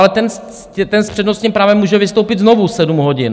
Ale ten s přednostním právem může vystoupit znovu sedm hodin!